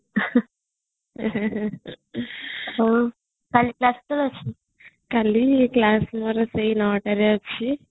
ହଉ କାଲି class କେତେବେଳେ ଅଛି ? କାଲି class ମୋର ସେଇ ନ ଟାରେ ଅଛି